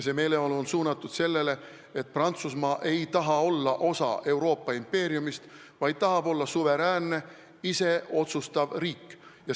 See meeleolu on suunatud sellele, et Prantsusmaa ei taha olla osa Euroopa impeeriumist, vaid tahab olla suveräänne, ise otsustav riik.